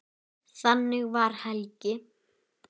Þannig var Helgi.